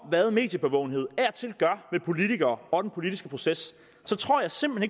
hvad mediebevågenhed af og til gør ved politikere og den politiske proces så tror jeg simpelt